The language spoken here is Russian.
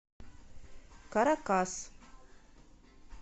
каракас